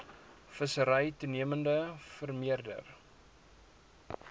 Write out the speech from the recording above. vissery toenemend vermeerder